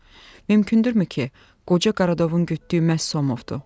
Mümkündürmü ki, qoca Karadovun gütdüyü məhz Somovdur?